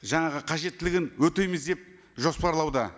жаңағы қажеттілігін өтейміз деп жоспарлауда